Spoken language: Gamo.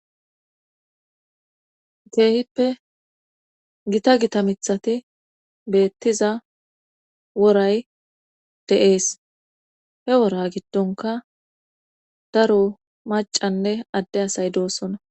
Teehippe gita gita mithati beettiza woray deees he wora giddonka daro macanne adde asay doossona